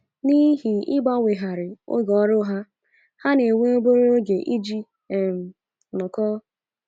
N’ihi ịgbanwegharị oge ọrụ ha, ha na - enwe obere oge iji um nọkọọ.